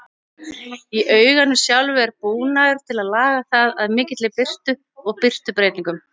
Í auganu sjálfu er búnaður til að laga það að mikilli birtu og birtubreytingum.